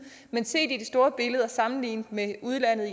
men set i det store billede og sammenlignet med udlandet